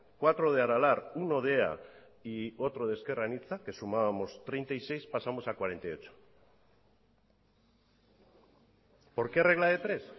cuatro de aralar uno de ea y otro de ezker anitza que sumábamos treinta y seis pasamos a cuarenta y ocho por qué regla de tres